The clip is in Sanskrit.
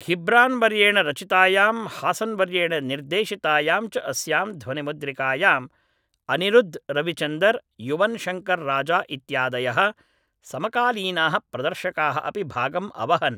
घिब्रान्वर्येण रचितायां हासन्वर्येण निर्देशितायां च अस्यां ध्वनिमुद्रिकायाम् अनिरुद्ध् रविचन्दर् युवन्शङ्कर्राजा इत्यादयः समकालीनाः प्रदर्शकाः अपि भागम् अवहन्